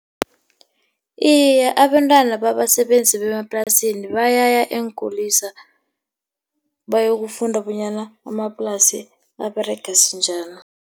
Iye, abentwana babasebenzi bemaplasini bayaya eenkulisa bayokufunda bonyana amaplasi aberega sinjani.